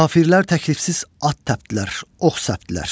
Kafirlər təklifsiz at təpdilər, ox səpdilər.